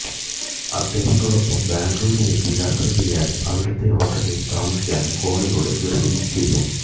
അദ്ദേഹത്തോടൊപ്പം ബാംഗ്ലൂരിലേക്ക് യാത്ര ചെയ്യാനും അവിടുത്തെ ഹോട്ടലില് താമസിക്കാനും ഫോണിലൂടെ നിര്ബന്ധിച്ചിരുന്നു